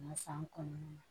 san kɔnɔna na